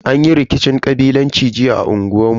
Anyi rikicin kabilanci jiya a unguwan mu.